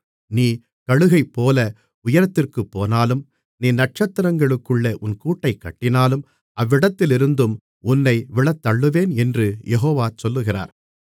நீ கழுகைப்போல உயரத்திற்குப்போனாலும் நீ நட்சத்திரங்களுக்குள்ளே உன் கூட்டைக் கட்டினாலும் அவ்விடத்திலிருந்தும் உன்னை விழத்தள்ளுவேன் என்று யெகோவா சொல்லுகிறார்